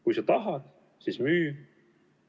Kui sa tahad, siis müü.